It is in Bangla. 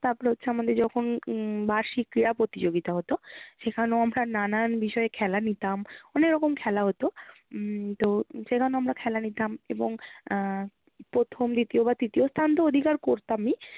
তারপর হচ্ছে আমাদের যখন উম বার্ষিক ক্রীড়া প্রতিযোগিতা হতো সেখানেও আমরা নানান বিষয়ে খেলা নিতাম অনেক রকম খেলা হতো। উম তো সেখানেও আমরা খেলা নিতাম এবং আহ প্রথম দ্বিতীয় বা তৃতীয় স্থান তো অধিকার করতামই